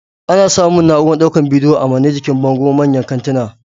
Ana samun na'urar daukan bidiyo a mane jikin bango manyan kantinan